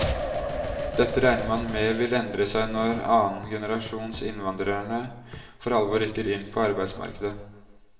Dette regner man med vil endre seg når annengenerasjons innvandrerne for alvor rykker inn på arbeidsmarkedet.